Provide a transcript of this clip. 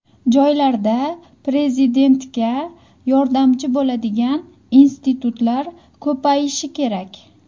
Joylarda Prezidentga yordamchi bo‘ladigan institutlar ko‘payishi kerak.